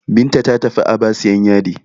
Binta ta tafi Aba sayan yadi.